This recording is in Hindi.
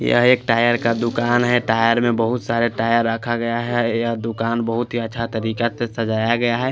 यहाँ एक टायर का दुकान है टायर में बहुत सारे टायर रखा गया है यह दुकान बहुत ही अच्छा तरीका से सझाया गया है।